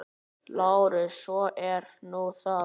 LÁRUS: Svo er nú það.